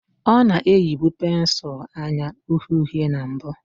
Ọ na-eyibu pensụl anya uhie uhie na mbụ